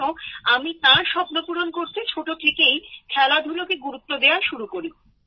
সেজন্য আমি তার স্বপ্নপূরণ করতে ছোট থেকেই খেলাধুলাকে গুরুত্ব দেওয়া শুরু করি